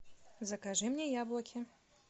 закажи мне яблоки